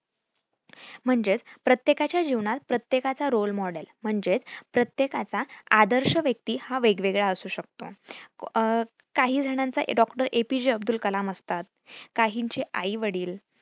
म्हणजेच प्रत्येकाच्या जिवनात प्रत्येकाचा role model म्हणजेच प्रत्येकाचा आदर्श व्यक्ती हा वेगवेगळा असू शकतो. अह काही जणांचा डॉ. A. P. J. Abdul Kalam असतात, काहींचे आईवडिल.